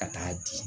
Ka taa di